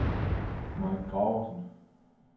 Mike Graversen